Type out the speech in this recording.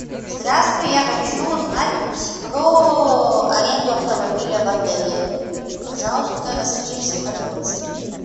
здравствуй я хочу узнать про аренду автомобиля в отеле пожалуйста расскажи все подробности